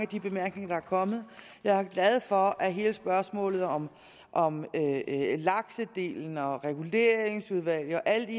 de bemærkninger der er kommet jeg er glad for at hele spørgsmålet om om laksedelen og reguleringsudvalg og alle de